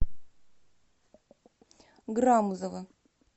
грамузова